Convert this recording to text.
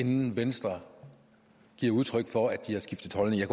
inden venstre giver udtryk for at de har skiftet holdning jeg